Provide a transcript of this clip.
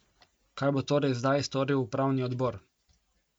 Kaj bo torej zdaj storil upravni odbor?